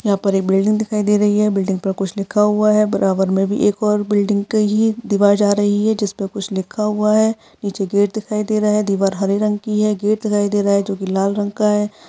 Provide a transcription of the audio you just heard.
यहाँ पर एक बिल्डिंग दिखाई दे रही है। बिल्डिंग पर कुछ लिखा हुआ है। बराबर मे भी एक और बिल्डिंग का ही दीवार जा रहा है जिस पर कुछ लिखा हुआ है। नीचे गेट दिखाई दे रहा है। दीवार हरे रंग की है। गेट दिखाई दे रहा है जो की लाल रंग का है।